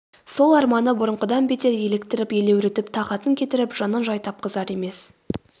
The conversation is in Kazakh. сол арманы бұрынғыдан бетер еліктіріп елеуретіп тағатын кетіріп жанын жай тапқызар емес